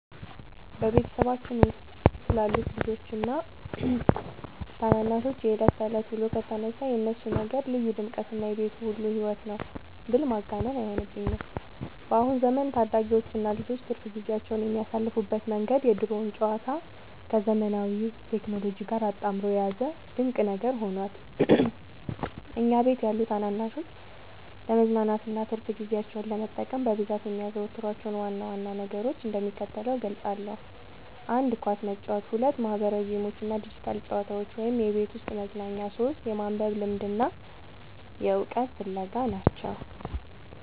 በቤተሰባችን ውስጥ ስላሉት ልጆችና ታናናሾች የዕለት ተዕለት ውሎ ከተነሳ፣ የእነሱ ነገር ልዩ ድምቀትና የቤቱ ሁሉ ሕይወት ነው ብል ማጋነን አይሆንብኝም። በአሁኑ ዘመን ታዳጊዎችና ልጆች ትርፍ ጊዜያቸውን የሚያሳልፉበት መንገድ የድሮውን ጨዋታ ከዘመናዊው ቴክኖሎጂ ጋር አጣምሮ የያዘ ድንቅ ነገር ሆኗል። እኛ ቤት ያሉ ታናናሾች ለመዝናናትና ትርፍ ጊዜያቸውን ለመጠቀም በብዛት የሚያዘወትሯቸውን ዋና ዋና ነገሮች እንደሚከተለው እገልጻለሁ፦ 1. ኳስ መጫወት 2. ማኅበራዊ ጌሞችና ዲጂታል ጨዋታዎች (የቤት ውስጥ መዝናኛ) 3. የማንበብ ልምድና የዕውቀት ፍለጋ